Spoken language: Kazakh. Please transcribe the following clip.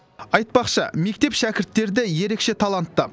айтпақшы мектеп шәкірттері де ерекше талантты